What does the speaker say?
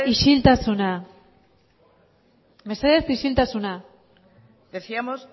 isiltasuna mesedez isiltasuna decíamos